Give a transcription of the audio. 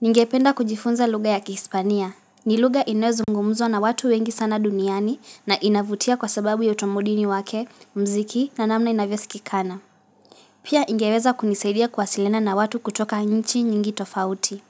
Ningependa kujifunza lugha ya kihispania. Ni lugha inoyozungumuzwa na watu wengi sana duniani na inavutia kwa sababu ya utamaduni wake mziki na namna inavyosikikana. Pia ingeweza kunisaidia kuwasiliana na watu kutoka nchi nyingi tofauti.